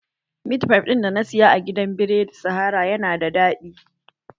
Mit fif ɗin da na saya a gidan biredi sahara yana da daɗi